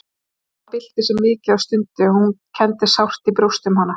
Amma bylti sér mikið og stundi og hún kenndi sárt í brjósti um hana.